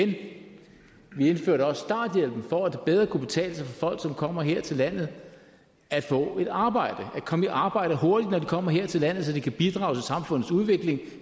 vi indførte også starthjælpen for at det bedre kunne betale sig for folk som kommer her til landet at få et arbejde at komme i arbejde hurtigt kommer her til landet så de kan bidrage til samfundets udvikling